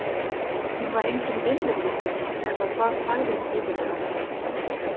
Hún var enginn vinnufíkill eða það sagði hún iðulega.